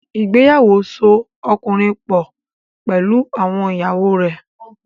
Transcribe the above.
Ìgbéyàwó so ọkùnrin pọ̀ pẹ̀lú àwọn ìyàwó rẹ̀.